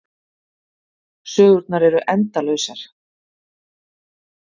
Sögurnar eru endalausar.